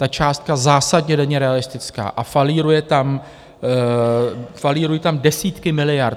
Ta částka zásadně není realistická a falírují tam desítky miliard.